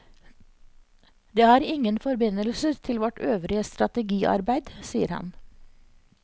Det har ingen forbindelser til vårt øvrige strategiarbeid, sier han.